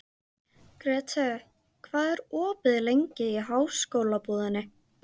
Grethe, hvað er opið lengi í Háskólabúðinni?